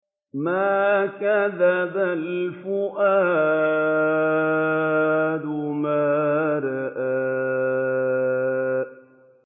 مَا كَذَبَ الْفُؤَادُ مَا رَأَىٰ